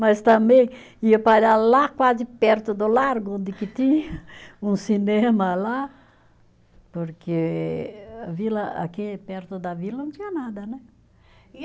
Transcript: Mas também ia parar lá, quase perto do Largo, onde que tinha um cinema lá, porque a vila, aqui perto da vila não tinha nada, né?